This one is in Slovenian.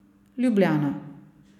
Ljubljana.